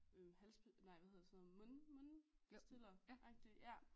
Hals nej hvad hedder sådan noget mund mund pastilleragtig